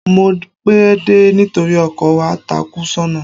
Mo pẹ́ dé nítorí ọkọ̀ wa takú sọ́nà.